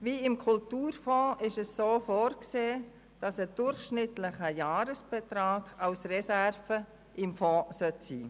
Wie im Kulturfonds vorgesehen, verbleibt ein durchschnittlicher Jahresbetrag als Reserve im Fonds.